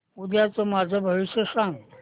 उद्याचं माझं भविष्य सांग